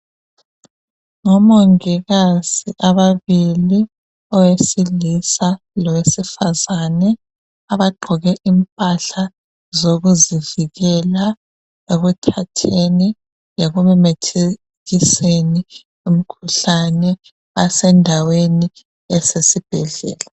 Ngomongikazi ababili, owesilisa lowesifazane abagqoke impahla zokuzivikela ekuthatheni lekumemethekiseni imikhuhlane. Basendaweni esesibhedlela.